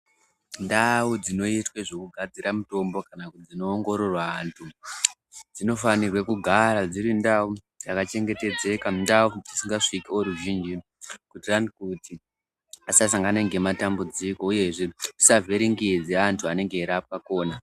Ndau dzinoitwe zvekugadzira mitombo kana kuti dzinoongorora vantu dzinofanirwe kugara dziri ndau dzakachengetedzeka, ndau dzisingasviki voruzhinji kuitirani kuti asasangana ngematambudziko uyezve zvisavhiringidze antu anenge eirapwa khona.